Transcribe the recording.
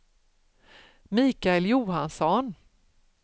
Mikael Johansson